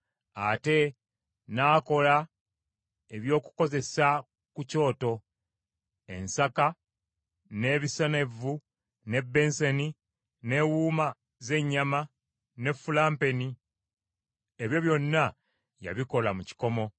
Ate n’akola eby’okukozesa ku kyoto: ensaka, n’ebisena evvu, n’ebbensani, n’ewuuma z’ennyama, ne fulampeni. Ebyo byonna yabikola mu kikomo.